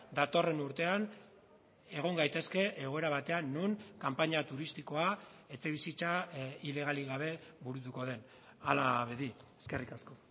datorren urtean egon gaitezke egoera batean non kanpaina turistikoa etxebizitza ilegalik gabe burutuko den hala bedi eskerrik asko